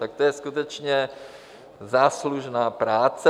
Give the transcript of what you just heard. Tak to je skutečně záslužná práce.